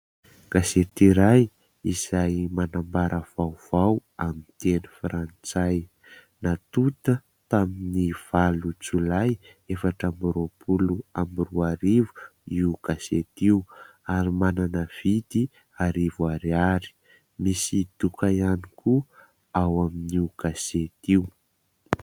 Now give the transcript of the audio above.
Gazety iray izay manambara vaovao amin'ny teny frantsay natota tamin'ny valo jolay efatra amby roapolo roa arivo io gazety io, ary manana vidy arivo ariary. Misy doka ihany koa ao amin'io gazety io.